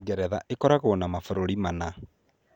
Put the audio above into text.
Ngeretha ĩkoragwo na mabũrũri mana.